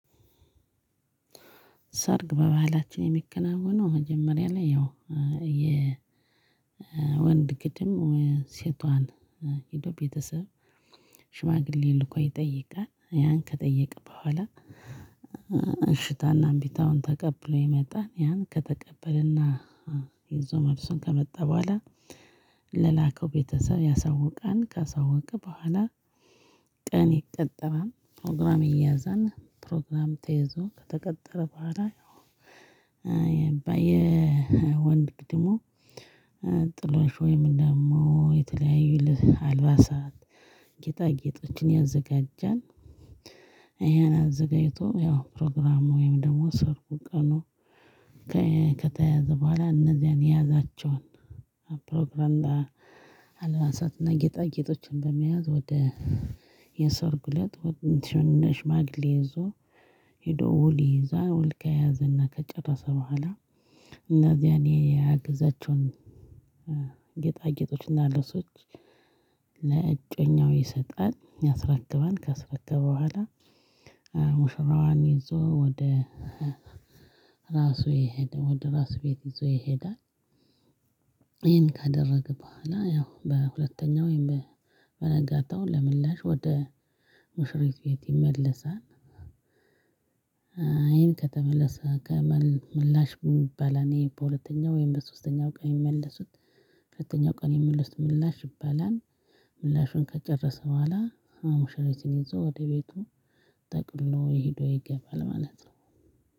ሰርግ በባህላችን የሚከናወነው መጀመሪያ ላይ ያው የወንድ ግድም ሴቷን ሄዶ ቤተሰብ ሽማግሌ ልኮ ይጠይቃል ያን ከጠየቅክ በኋላ። እሽታና እምቢታውን ተቀብሎ ይመጣል። ያን ከተቀበለና ይዞ መልሱን ከመጣ በኋላ ለላከው ቤተሰብ ያሳውቃል ከሳወቀ በኋላ። ቀን ይቀጠራል ፕሮግራም ይያዛል ፕሮግራም ተይዞ ከተቀጠረ በኋላ። የወንድ ግድሞ ጥሎሽ ወይም ደግሞ የተለያዩ አልባሳት ጌጣ ጌጦችን ያዘጋጃል። ይሄን አዘጋጅቶ ያው ፕሮግራሙ ወይም ደግሞ ሰርጉ ቀን። ከተያያዘ በኋላ እነዚያን የያዛቸውን ፕሮግራም አልባሳትና ጌጣጌጦችን በመያዝ ወደ የሰርጉለት ወደ ሽማግሌ ይዞ ሄዶ ውል ይይዛል ውል ከያዘና ከጨረሰ በኋላ። እና ያኔ ያግዛቸውን ጌጣጌጦችና ልብሶች ለእጮኛው ይሰጣል ያስረክባል ካስረገበ በኋላ። ሙሽራዋን ይዞ ወደ ራሱ ይሄዳል ወደ ራሱ ቤት ይዞ ይሄዳል። ይሄን ካደረገ በኋላ ያው በሁለተኛው ወይም በነጋታው ለምላሽ ወደ ሙሽሪት ቤት ይመለሳል። አይን ከተመለሰ ከመል ምላሽ ይባላል ይሄ በሁለተኛው ወይም በሶስተኛው ቀን የሚመልሱት በሶስተኛው ቀን የሚመለሱት ውስጥ ምላሽ ይባላል። ምላሹን ከጨረሰ በኋላ ሙሽሪትን ይዞ ወደ ቤቱ ጠቅልሎ ሄዶ ይገባል ማለት ነው።